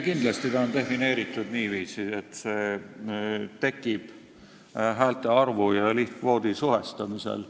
Kindlasti on ta defineeritud niiviisi, et see tekib häälte arvu ja lihtkvoodi suhestamisel.